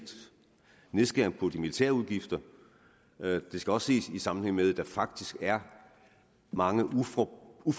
nedskæring af de militære udgifter det skal også ses i sammenhæng med at der faktisk er mange uforbrugte